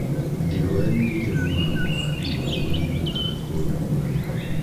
Ndigoe nĩ ĩrĩ mũgambo wa igũrũ ũiguĩkaga kũndũ kũraihu.